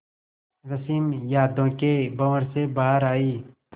रश्मि यादों के भंवर से बाहर आई